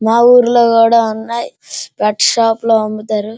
మా ఊర్లో కూడా ఉన్నాయి. వర్క్ షాప్ లో అమ్ముతారు.